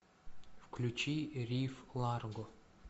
включи риф ларго